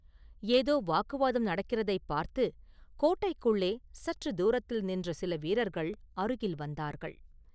ஏதோ வாக்குவாதம் நடக்கிறதைப் பார்த்துக் கோட்டைக்குள்ளே சற்று தூரத்தில் நின்ற சில வீரர்கள் அருகில் வந்தார்கள்.